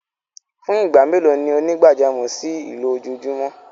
Fún igbá mẹ́lò ni onígbàjàmọ̀ ṣí ilọjóòjúmọ?